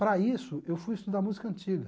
Para isso, eu fui estudar música antiga.